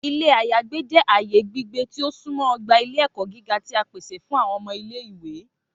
Ilé àyágbe jẹ aaye gbigbe ti o sunmọ ogba ile-ẹkọ giga ti a pese fun awọn ọmọ ile-iwe.